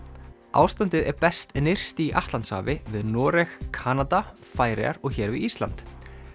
ástandið er best nyrst í Atlantshafi við Noreg Kanada Færeyjar og hér við Ísland